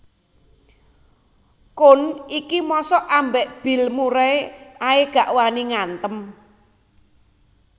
Koen iki mosok ambek Bill Murray ae gak wani ngantem